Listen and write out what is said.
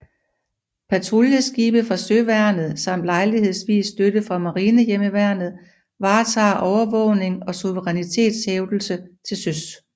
Patruljeskibe fra søværnet samt lejlighedsvis støtte fra Marinehjemmeværnet varetager overvågning og suverænitetshævdelse til søs